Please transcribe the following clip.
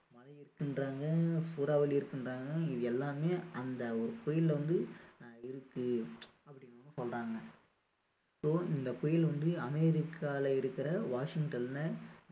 பனி இருக்குன்றாங்க சூறாவளி இருக்குன்றாங்க எல்லாமே அந்த ஒரு புயல்ல வந்து இருக்கு அப்படின்னு வந்து சொல்றாங்க so இந்த புயல் வந்து அமெரிக்காவுல இருக்க வாஷிங்டன்ல